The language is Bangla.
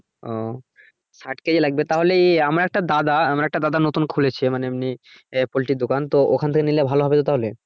ও ষাট কেজি লাগবে তাহলে আমর একটা দাদা আমার একটা দাদা নতুন খুলেছে মানে এমনি আহ poultry এর দোকান তো এখান থেকে নিলে ভালো হবে তো তাহলে।